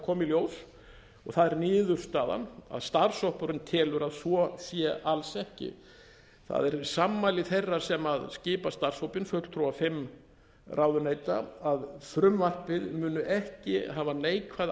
í ljós og það er niðurstaðan að starfshópurinn telur að svo sé alls ekki það eru sammæli þeirra sem skipa starfshópinn fulltrúa fimm ráðuneyta að frumvarpið muni ekki hafa neikvæð